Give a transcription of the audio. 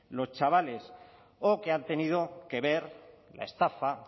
los chavales o que han tenido que ver la estafa